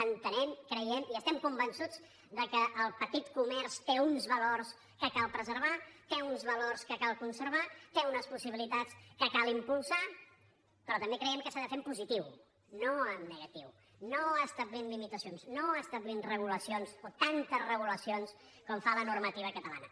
entenem creiem i estem convençuts que el petit comerç té uns valors que cal preservar té uns valors que cal conservar té unes possibilitats que cal impulsar però també creiem que s’ha de fer en positiu no en negatiu no establint limitacions no establint regulacions o tantes regulacions com fa la normativa catalana